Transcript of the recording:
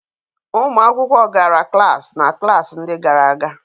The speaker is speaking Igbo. Ụmụ akwụkwọ gara klaasị na klaasị ndị gara aga.